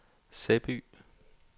Sæby